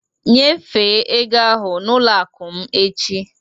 Nyefee ego ahụ n'ụlọ akụ m echi